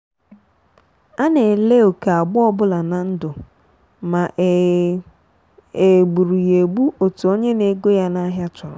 a na ele oke agba obula na ndụ ma e e gburu ya egbu etu onye na-ego ya n'ahia chọrọ.